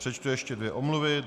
Přečtu ještě dvě omluvy.